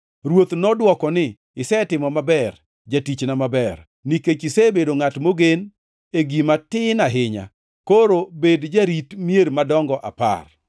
“Ruoth nodwoko ni, ‘Isetimo maber, jatichna maber! Nikech isebedo ngʼat mogen e gima tin ahinya, koro bed jarit mier madongo apar.’